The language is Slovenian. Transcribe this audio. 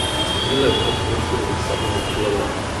Vstopila je v predprostor in za sabo zaprla vrata.